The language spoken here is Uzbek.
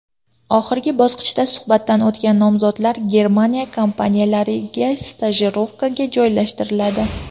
Oxirgi bosqichda suhbatdan o‘tgan nomzodlar Germaniya kompaniyalariga stajirovkaga joylashtiriladi.